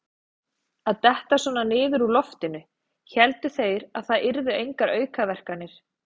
Að detta svona niður úr loftinu: héldu þeir það yrðu engar aukaverkanir?